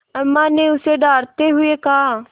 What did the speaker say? अम्मा ने उसे डाँटते हुए कहा